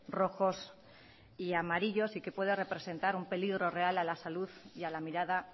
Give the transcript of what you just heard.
rojos y amarillos y que pueda representar un peligro real a la salud y a la mirada